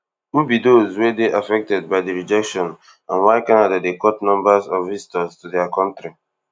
who be dose wey dey affected by di rejection and why canada dey cut numbers of visitors to dia kontri